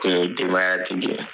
denbaya tigi.